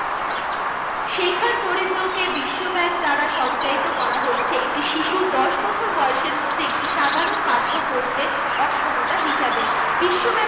শেখার দরিদ্রকে বিশ্বব্যাঙ্ক দ্বারা সঞ্চায়িত করা হচ্ছে। একটি শিশু দশ বছর বয়সের মধ্যে একটি সাধারণ পাঠ্য পড়তে অক্ষমতা হিসাবে। বিশ্বব্যাপী